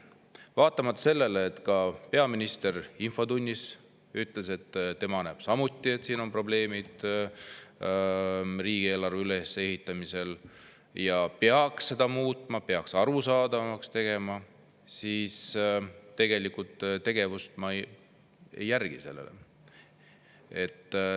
Vaatamata sellele, et peaminister ütles siin infotunnis, et tema näeb samuti, et riigieelarve ülesehituses on probleeme ja seda peaks muutma, arusaadavamaks tegema, tegevust sellele ei järgne.